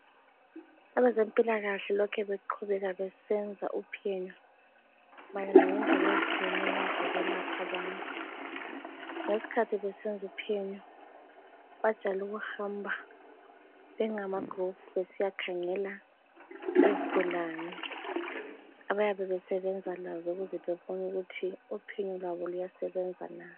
Abezempilakahle lokhe beqhubeka besenza uphenyo mayelana ngendlela ezitshiyeneyo zokwelapha abantu. ngesikhathi besenza uphenyo bajayele ukuhamba bengamagroup besiyakhangela izigulane abayabe besebenza lazo ukuze bebone ukuthi uphenyo lwabo luyasebenza na.